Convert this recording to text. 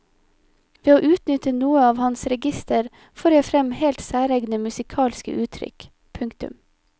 Ved å utnytte noe av hans register får jeg frem helt særegne musikalske uttrykk. punktum